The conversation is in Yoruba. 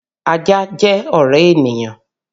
Ajá jẹ́ ọ̀rẹ́ ènìyàn